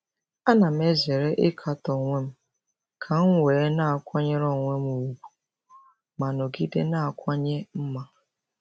Ana m ezere ịkatọ onwe m ka m wee na-akwanyere onwe m ùgwù ma nọgide na-akawanye mma.